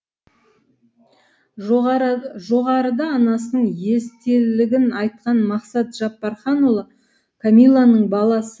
жоғарыда анасының естелігін айтқан мақсат жаппарханұлы кәмиланың баласы